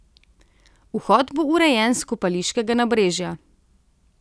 Vhod bo urejen s Kopališkega nabrežja.